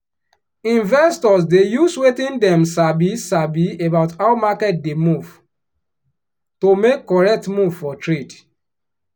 to manage investment when market no stable fit fit scatter person brain. um